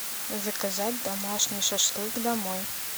заказать домашний шашлык домой